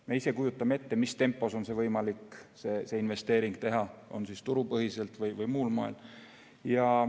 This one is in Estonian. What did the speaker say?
Me ise kujutame ette, mis tempos on võimalik see investeering teha, olgu turupõhiselt või muul moel.